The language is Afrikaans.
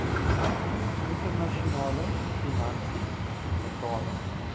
internasionale finansies metale